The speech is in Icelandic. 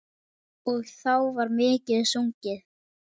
Og þá var mikið sungið.